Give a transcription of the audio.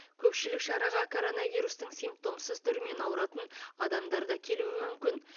көпшілік шараға коронавирустың симптомсыз түрімен ауыратын адамдар да келуі мүмкін